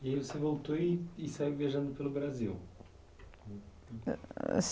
E aí você voltou e e saiu viajando pelo Brasil.